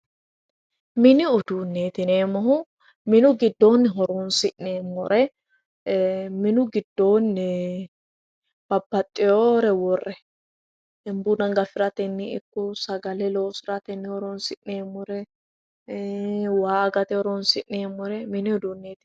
Mini uduuneti yineemmohu minu giddoni horonsi'neemmore e"e minu giddonni babbaxewore worre buna gafiratenni ikko sagale loosirateno horonsi'neemmore waa agate horonsi'neemmore mini uduuneti.